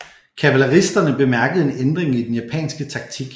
Kavaleristerne bemærkede en ændring i den japanske taktik